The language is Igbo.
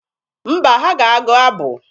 Mba, ha ga-agụ abụ.